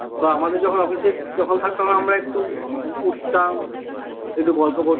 বা আমাদের যখন office এ যখন থাকতাম আমরা একটু উঠতাম একটু গল্প করতাম